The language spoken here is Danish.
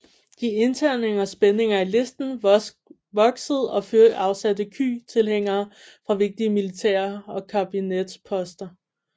De interne spændinger i listen voksede og Thiệu afsatte Kỳ tilhængere fra vigtige militære og kabinetsposter